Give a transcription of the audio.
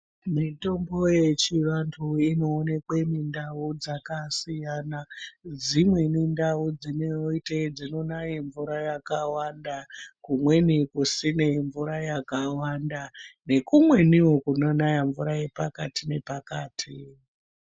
Mitombo yechivantu inoonekwe mindau dzakasiyana. Dzimweni ndau dzinoite dzinonaye mvura yakawanda, kumweni kusine mvura yakawanda nukumweniwo kunonaya mvura yepakati nepakati.